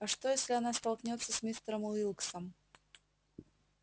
а что если она столкнётся с мистером уилксом